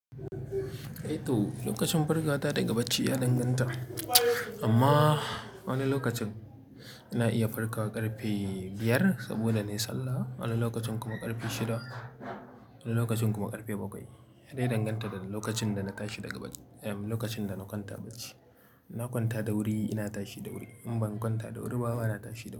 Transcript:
Eh to, lokacin farkawata daga bacci ya danganta. Amma wani lokacin ina iya farkawa ƙarfe biyar saboda na yi sallah, wani lokacin kuma ƙarfe shida, wani lokacin kuma ƙarfe bakwai. Ya dai danganta da lokacin da na tashi daga bacc eh lokacin da na kwanta bacci. Na kwanta da wuri ina tashi da wuri. In ban kwanta da wuri ba, bana tashi da wuri.